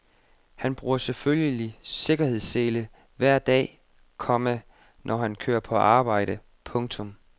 Han bruger selvfølgelig sikkerhedssele hver dag, komma når han kører på arbejde. punktum